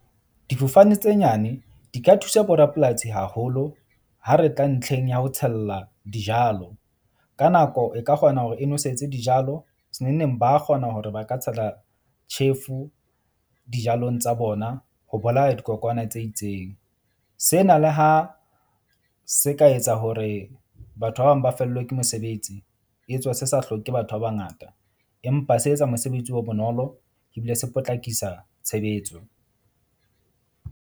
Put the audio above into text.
Difofane tse nyane di ka thusa borapolasi haholo ha re tla ntlheng ya ho tshella dijalo. Ka nako, e ka kgona hore e nwesetse dijalo se neng neng, ba kgona hore ba ka tshela tjhefu dijalong tsa bona. Ho bolaya dikokwana tse itseng sena le ha se ka etsa hore batho ba bang ba fellwe ke mosebetsi, etswe se sa hloke batho ba bangata. Empa se etsa mosebetsi o bonolo ebile se potlakisa tshebetso.